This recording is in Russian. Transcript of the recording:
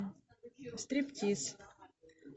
стриптиз